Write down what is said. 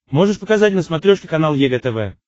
можешь показать на смотрешке канал егэ тв